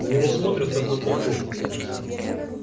на него смотрят как на полубога